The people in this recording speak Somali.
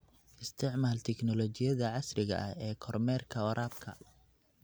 Isticmaal tignoolajiyada casriga ah ee kormeerka waraabka.